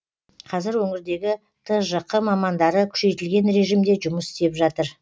қазір өңірдегі тжқ мамандары күшейтілген режімде жұмыс істеп жатыр